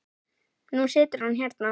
Og nú situr hann hérna.